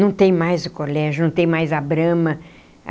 Não tem mais o colégio, não tem mais a Brahma.